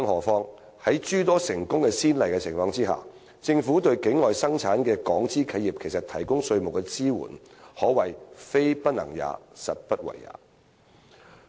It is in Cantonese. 況且，在有諸多成功先例的情況下，政府對境外生產的港資企業提供稅務支援，可謂"非不能也，實不為也"。